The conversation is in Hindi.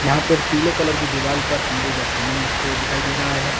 यहां पर पीले कलर की दीवाल पर अंबुजा सीमेंट लिखे हुए दिखाई दे रहा है।